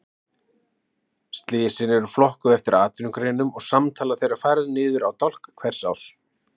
Slysin eru flokkuð eftir atvinnugreinum og samtala þeirra færð niður í dálk hvers árs.